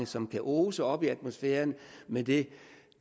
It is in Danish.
som kan ose op i atmosfæren med den